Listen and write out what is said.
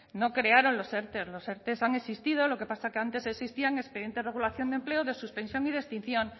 no crearon los erte los erte han existido lo que pasa es que antes existían expedientes de regulación de empleo de suspensión y de extinción